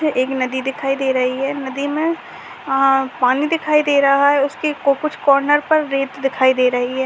ये एक नदी दिखाई दे रही है नदी में अ पानी दिखाई दे रहा है उसके कुछ कॉर्नर पर रेत दिखाई दे रही हैं।